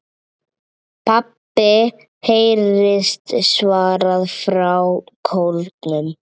PABBI heyrist svarað frá kórnum.